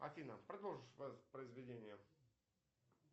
афина продолжи воспроизведение